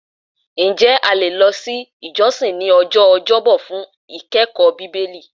Ǹjẹ́ a le lọ si ile ijọsin ní ọjọ́ ọjọbọ fun ikẹkọọ Bibeli?